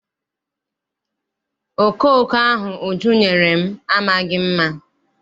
Okooko ahụ Uju nyere m amaghị mma.